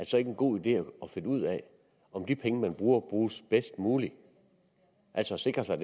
så ikke en god idé at finde ud af om de penge man bruger bruges bedst muligt altså sikre sig